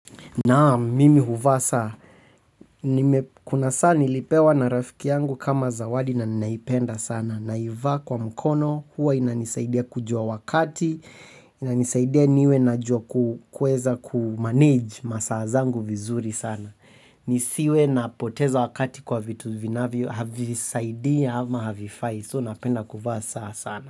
Naam mimi huvaa saa. Kuna saa nilipewa na rafiki yangu kama zawadi na ninaipenda sana. Naiva kwa mkono. Huwa inanisaidia kujua wakati. Inanisaidia niwe na joku kuweza kumanage masaa zangu vizuri sana. Nisiwe na poteza wakati kwa vitu vinavyo havisaidii ama havifai. So napenda kuvaa saa sana.